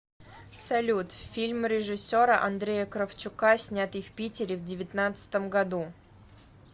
салют фильм режиссера андрея кравчука снятый в питере в девятнацдатом году